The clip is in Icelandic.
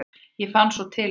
ég fann svo til með þér!